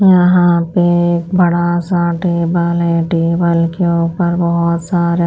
यहाँ पे एक बड़ा सा टेबल है टेबल के ऊपर बहुत सारे --